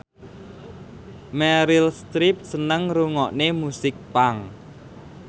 Meryl Streep seneng ngrungokne musik punk